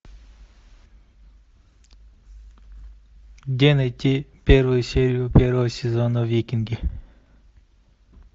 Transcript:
где найти первую серию первого сезона викинги